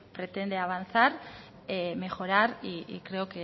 pretende avanzar mejorar y creo